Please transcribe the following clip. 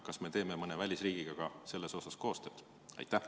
Kas me teeme selles ka mõne välisriigiga koostööd?